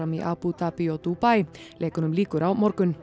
í Abú Dabí og Dúbaí leikunum lýkur á morgun